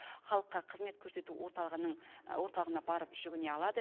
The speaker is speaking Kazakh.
халыққа қызмет көрсету орталығына барып жүгіне алады